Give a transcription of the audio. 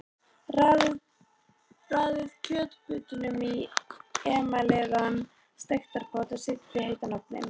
Raðið kjötbitunum í emaleraðan steikarpott og setjið í heitan ofninn.